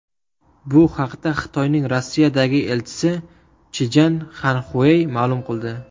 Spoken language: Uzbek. Bu haqda Xitoyning Rossiyadagi elchisi Chjan Xanxuey ma’lum qildi .